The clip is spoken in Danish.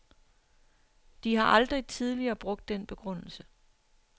De har aldrig tidligere brugt den begrundelse.